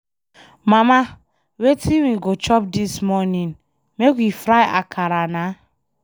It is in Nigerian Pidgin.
Mama wetin we go chop dis morning? Make we fry akara na